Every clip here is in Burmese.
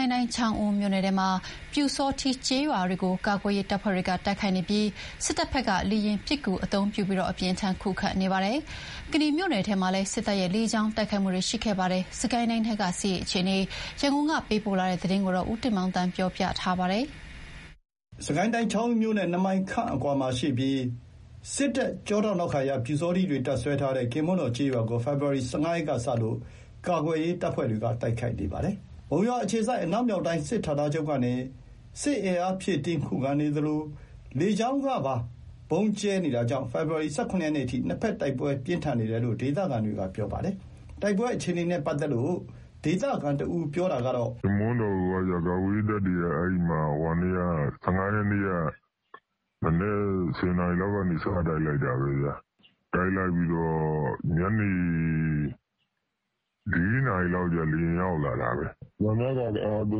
ုင်းတိုင်း ချောင်းဦးမြို့နယ်ထဲမှာ ပျူစောထီးကျေးရွာကို ကာကွယ်ရေးတပ်ဖွဲ့တွေက တိုက်ခိုက်နေပြီး စစ်တပ်ဘက်က လေယာဉ်ပစ်ကူတွေ အသုံးပြုပြီး အပြင်းအထန် ခုခံနေပါတယ်။ ကနီမြို့နယ်ထဲမှာလည်း စစ်တပ်ရဲ့ လေကြောင်းတိုက်ခိုက်မှုတွေ ရှိခဲ့ပါတယ်။ စစ်ကိုင်းတိုင်းထဲက စစ်ရေးအခြေအနေ ရန်ကုန်က သတင်းပေးပို့ထားပါတယ်။ စစ်ကိုင်းတိုင်း၊ ချောင်းဦးမြို့နဲ့ ၂ မိုင်ခန့်အကွာမှာရှိတဲ့ စစ်တပ်ထောက်ခံတဲ့ ပျူစောထီးတွေ တပ်စွဲထားတဲ့ ကင်းမွန်းတော်ကျေးရွာကို ဖေဖော်ဝါရီ ၁၅ ရက်ကစလို့ ကာကွယ်ရေးတပ်ဖွဲ့တွေက တိုက်ခိုက်နေတာပါ။ မုံရွာအခြေစိုက် အနောက်မြောက်တိုင်း စစ်ဌာနချုပ်ကနေ စစ်အင်အားဖြည့်တင်း ခုခံနေသလို လေကြောင်းကနေပါ ဗုံးကြဲပြီး အပြင်းအထန်ခုခံကာ ဖေဖော်ဝါရီ ၁၇ ရက်နေ့အထိ နှစ်ဘက် တိုက်ပွဲပြင်းထန်နေတယ်လို့ ဒေသခံတွေက ပြောပါတယ်။ တိုက်ပွဲအခြေအနေနဲ့ ပတ်သက်လို့ ဒေသခံတဦး ပြောတာကတော့ - "ကင်းမွန်တော်ကို ၁၅ ရက်နေ့ မနက် ၁၀ နာရီလောက်ကနေ စတိုက်လိုက်တာပဲ။ ညနေ ၄ နာရီလောက်မှာ လေယာဉ်ရောက်လာတာပဲ။ သံပြားကာ ကား ၃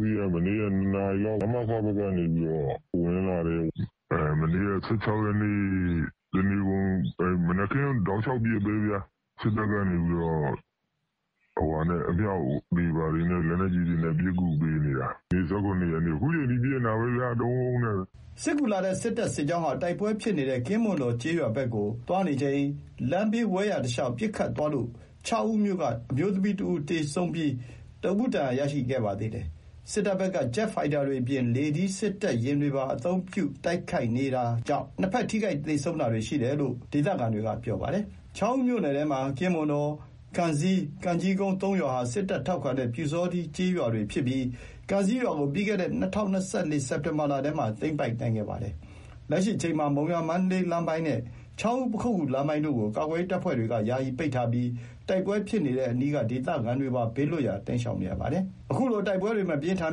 စီးက မနေ့က ၂ နာရီလောက် နမခ ဘက်ကနေပြီးတော့ ဝင်လာတယ်။ မနေ့က ၁၆ ရက်နေ့ တနေကုန် မနက်ခင်းကတည်း တောက်လျှောက်ပစ်နေတာပဲ။ စစ်တပ်ဘက်က အမြောက် လက်နက်ကြီးတွေနဲ့ တောက်လျှောက် ပစ်ကူပေးနေတာ။ ဒီနေ့ ၁၇ ရက်နေ့ အခုချိန်ထိ ပစ်နေတာပဲ တဝုန်းဝုန်းနဲ့။" စစ်ကူလာတဲ့ စစ်တပ်စစ်ကြောင်းဟာ တိုက်ပွဲဖြစ်နေတဲ့ ကင်းမွန်တော်ကျေးရွာဘက်ကိုသွားချိန် လမ်းဘေးဝဲယာတလျှောက် ပစ်ခတ်သွားလို့ ချောင်းဦးမြို့က အမျိုးသမီး ၁ ဦး သေဆုံးပြီး ၁ ဦး ဒဏ်ရာရရှိခဲ့ပါသေးတယ်။ စစ်တပ်ဘက်က ဂျက်ဖိုက်တာတွေအပြင် လေထီး စက်တပ်ယာဉ်တွေပါ အသုံးပြုပြီး ဗုံးကြဲခုခံနေပြီး နှစ်ဘက် ထိခိုက်သေဆုံးတာတွေ ရှိတဲ့အထိ တိုက်ပွဲ ပြင်းထန်နေတယ်လို့ ဒေသခံတွေက ပြောပါတယ်။ ချောင်းဦးမြို့နယ်ထဲမှာ ကင်းမွန်တော်၊ ကံဇီး၊ ကံကြီးကုန်း ၃ ရွာဟာ စစ်တပ်ထောက်ခံတဲ့ ပျူစောထီး ကျေးရွာတွေဖြစ်ပြီး ကံဇီးရွာကို ပြီးခဲ့တဲ့ ၂၀၂၄ စက်တင်ဘာလထဲမှာ သိမ်းပိုက်နိုင်ခဲ့ပါတယ်။ လက်ရှိအချိန်မှာ မုံရွာ-မန္တလေးလမ်းပိုင်းနဲ့ ချောင်းဦး-ပခုက္ကူလမ်းပိုင်းတို့ကို ကာကွယ်ရေးတပ်ဖွဲ့တွေက ယာယီပိတ်ထားပြီး တိုက်ပွဲဖြစ်နေတဲ့အနီးက ဒေသခံတွေပါ ဘေးလွတ်ရာ တိမ်းရှောင်နေရပါတယ်။ အခုလို တိုက်ပွဲတွေ မပြင်းထန်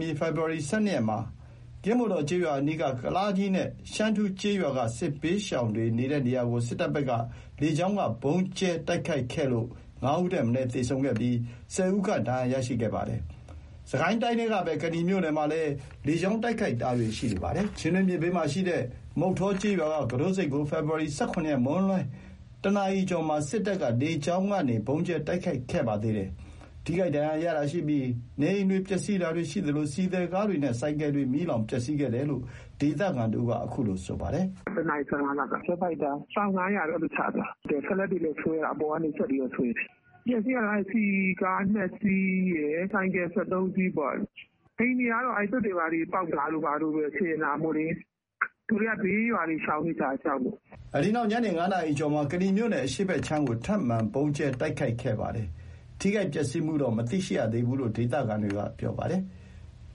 မီ ဖေဖော်ဝါရီ ၁၂ ရက်မှာ ကင်းမွန်တော်ကျေးရွာအနီး ကုလားကြီးနဲ့ ရှမ်းထူးကျေးရွာက စစ်ဘေးရှောင်တွေနေတဲ့နေရာကို စစ်တပ်ဘက်က လေကြောင်းက ဗုံးကြဲတိုက်ခိုက်ခဲ့လို့ ၅ ဦးထက်မနည်း သေဆုံးပြီး ၁၀ ဦးခန့် ဒဏ်ရာရရှိခဲ့ပါတယ်။ စစ်ကိုင်းတိုင်းထဲကပဲ ကနီမြို့နယ်မှာလည်း လေကြောင်းတိုက်ခိုက်တာတွေ ရှိနေပါတယ်။ ချင်းတွင်းမြစ်ဘေးမှာရှိတဲ့ မုဌောကျေးရွာက ကူတို့ဆိပ်ကို ဖေဖော်ဝါရီ ၁၇ ရက် မွန်းလွန် ၁ နာရီကျော်မှာ စစ်တပ်က လေကြောင်းကနေ ဗုံးကြဲတိုက်ခိုက်ခဲ့တာပါ။ ထိခိုက်ဒဏ်ရာရတာရှိပြီး နေအိမ်ပျက်စီးတာတွေရှိသလို ဆီသယ်ကားတွေနဲ့ ဆိုင်ကယ်တွေ မီးလောင် ပျက်စီးခဲ့တယ်လို့ ဒေသခံတဦးက ပြောပါတယ်။ "၁ နာရီ ၁၅ လောက်က ဂျက်ဖိုက်တာ။ ပေါင် ၅၀၀ နဲ့ အဲ့လိုချသွားတာ။ စက်လက်တွေနဲ့လည်း အပေါ်ကနေ စက်တွေနဲ့ ဆွဲတယ်။ အပျက်အစီးကတော့ ဆီကား ၂ စီးရယ် ဆိုင်ကယ် ၁၃ စီးပေါ့။ အိမ်တွေကတော့ သွပ်တွေဘာတွေ ပေါက်တာ အစတွေ စင်တာပေါ့လေ။ လူတွေကတော့ ဘေးရွာတွေ ရှောင်နေကြတယ်။ ကြောက်လို့။" အဲဒီနောက် ညနေ ၅ နာရီကျော်မှာ ကနီမြို့နယ် အရှေ့ခြမ်းကို ထပ်မံ ဗုံးကြဲတိုက်ခိုက်ခဲ့ပြီး ထိခိုက်ပျက်စီးမှု မသိရှိရသေးဘူးလို့ ဒေသခံတွေက ပြောပါတယ်။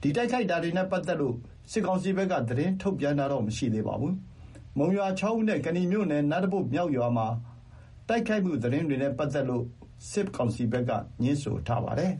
ဒီတိုက်ခိုက်တာတွေနဲ့ ပတ်သက်ပြီး စစ်ကောင်စီဘက်က သတင်းထုတ်ပြန်တာတော့ မရှိသေးပါဘူး။ မုံရွာ၊ ချောင်းဦးနဲ့ ကနီမြို့နယ် နတ်လာပို့ မြောက်ရွာမှာ တိုက်ခိုက်မှုသတင်းတွေနဲ့ ပတ်သက်လို့တော့ စစ်ကောင်စီဘက်က ငြင်းဆိုထားပါတယ်